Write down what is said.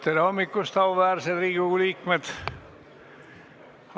Tere hommikust, auväärsed Riigikogu liikmed!